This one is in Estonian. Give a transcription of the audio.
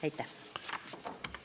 Aitäh!